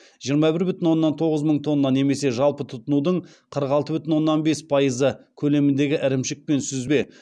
жиырма бір бүтін оннан тоғыз мың тонна немесе жалпы тұтынудың қырық алты бүтін оннан бес пайызы көлеміндегі ірімшік пен сүзбе